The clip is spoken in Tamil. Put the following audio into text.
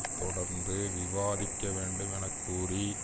தொடர்ந்து விவாதிக்க வேண்டும் என கூறி